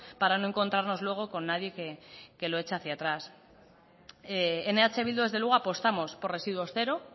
para no encontrarnos luego con nadie que lo echa hacia atrás en eh bildu desde luego apostamos por residuos cero